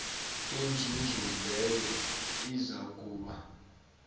inzuzo leyo izakuba